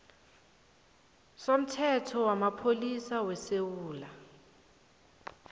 somthetho wamapholisa wesewula